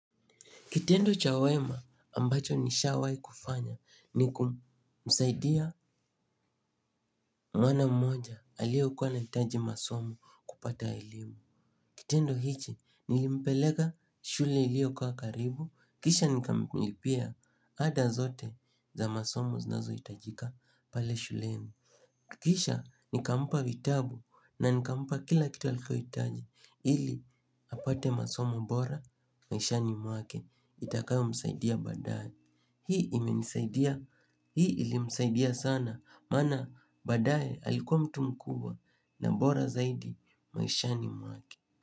Kitendo cha wema ambacho nishawai kufanya ni kumsaidia mwana mmoja aliokua anahitaji masomo kupata elimu. Kitendo hichi nilimpelega shule iliokua karibu, kisha nikamilipia hada zote za masomo zinazohitajika pale shuleni. Kisha nikampa vitabu na nikampa kila kitu alikua aitaji ili apate masomo bora, maishani mwake itakayo msaidia baadae. Hii imenisaidia hii ilimsaidia sana. Maana baadae alikuwa mtu mkubwa na mbora zaidi maishani mwake.